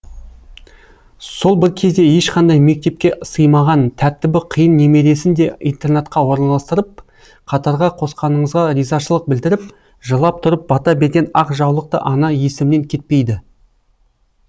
сол бір кезде ешқандай мектепке сыймаған тәртібі қиын немересін де интернатқа орналастырып қатарға қосқаныңызға ризашылық білдіріп жылап тұрып бата берген ақ жаулықты ана есімнен кетпейді